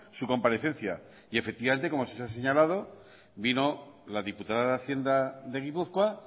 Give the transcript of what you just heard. su comparecencia y efectivamente como se ha señalado vino la diputada de hacienda de gipuzkoa